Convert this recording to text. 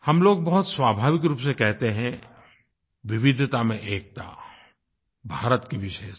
हम लोग बहुत स्वाभाविक रूप से कहते हैं विविधता में एकता भारत की विशेषता